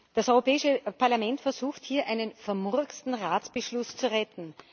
Das Europäische Parlament versucht hier, einen vermurksten Ratsbeschluss zu retten.